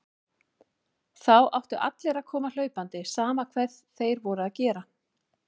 Þá áttu allir að koma hlaupandi, sama hvað þeir voru að gera.